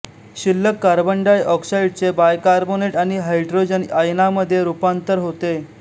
शिल्लक कार्बन डाय ऑक्साइडचे बायकार्बोनेट आणि हायॅड्रोजन आयनामध्ये रूपांतर होते